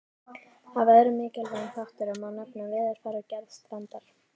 Af öðrum mikilvægum þáttum má nefna veðurfar og gerð strandar.